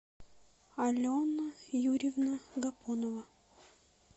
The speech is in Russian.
алена юрьевна гапонова